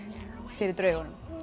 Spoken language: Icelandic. fyrir draugunum